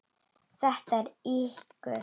Þetta eru ýkjur!